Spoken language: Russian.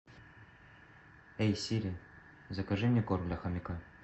эй сири закажи мне корм для хомяка